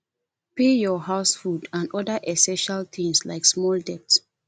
pay for house food and oda essestial things like small debts